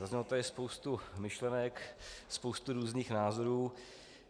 Zazněla tady spousta myšlenek, spousta různých názorů.